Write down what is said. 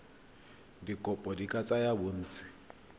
dikopo di ka tsaya bontsi